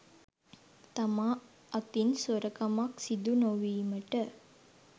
තමා අතින් සොරකමක් සිදු නොවීමට